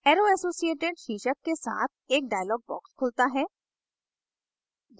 arrow associated शीर्षक के साथ एक dialog box खुलता है